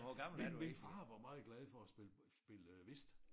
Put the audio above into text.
Min min far var meget glad for at spille spille øh whist